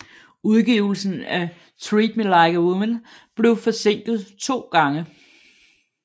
Udgivelsen af Treat Me Like a Woman blev forsinket to gange